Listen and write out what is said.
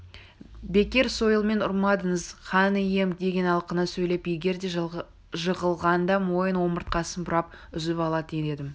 бекер сойылмен ұрмадыңыз хан ием деген алқына сөйлеп егер де жығылғанда мойын омыртқасын бұрап үзіп алатын едім